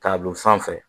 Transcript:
K'a don sanfɛ